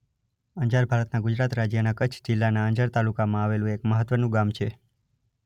અંજાર ભારતના ગુજરાત રાજ્યના કચ્છ જિલ્લાના અંજાર તાલુકામાં આવેલું એક મહત્વનું ગામ છે.